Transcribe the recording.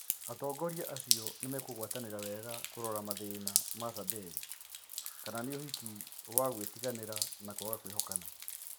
Atongoria acio nĩmekũgwatanĩra wega kũrora mathĩna ma Zamberi, kama ni ũhiki wa gũĩtiganĩra na kũaga kũĩhokana?